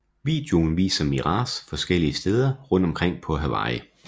Videoen viser Mraz forskellige steder rundt omkring på Hawaii